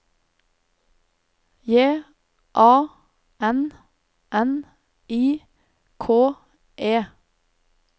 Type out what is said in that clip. J A N N I K E